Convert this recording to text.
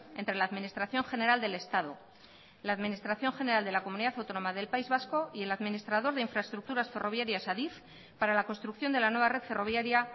entre la administración general del estado la administración general de la comunidad autónoma del país vasco y el administrador de infraestructuras ferroviarias adif para la construcción de la nueva red ferroviaria